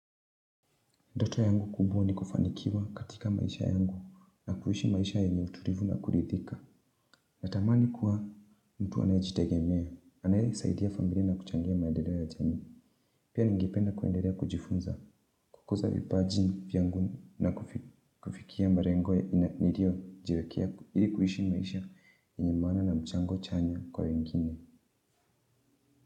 Ndoto yangu kubwa ni kufanikiwa katika maisha yangu na kuishi maisha yenye utulivu na kuridhika. Natamani kuwa mtu anayejitegemea, anayesaidia familia na kuchangia maedeleo ya jamii. Pia ningependa kuenderea kujifunza kukuza vipaji vyangu na kufikia marengo ya niriojiwekea ili kuishi maisha yenye maana na mchango chanya kwa wengine.